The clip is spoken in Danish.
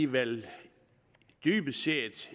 vel dybest set